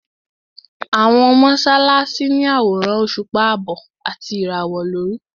Àwọn mọ́sálásí ní àwòrán òṣùpá àbọ̀ àti ìràwọ̀ lórí.